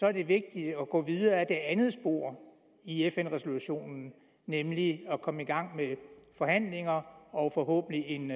er det vigtigt at gå videre ad det andet spor i fn resolutionen nemlig at komme i gang med forhandlinger og forhåbentlig en